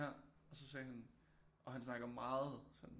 Ja og så sagde han og han snakker meget sådan